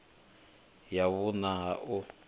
ya vhuṋa a hu na